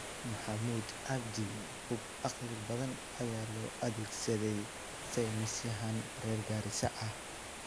Mohamud cabdi: Hub caqli badan ayaa loo adeegsaday saynisyahan reer Garissa ah